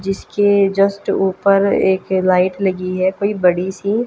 जीसके जस्ट ऊपर एक लाइट लगी है कोइ बड़ी सी--